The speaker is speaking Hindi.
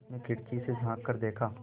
उसने खिड़की से झाँक कर देखा